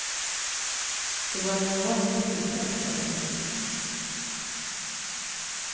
Det var en enorm trygghet för henne.